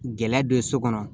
Gɛlɛya don so kɔnɔ